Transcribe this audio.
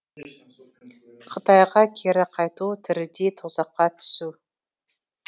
қытайға кері қайту тірідей тозаққа түсу